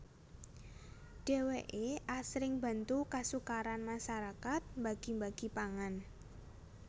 Dheweké asring bantu kasukaran masarakat mbagi mbagi pangan